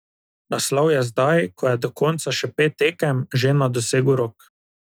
Naslov je zdaj, ko je do konca še pet tekem, že na dosegu rok.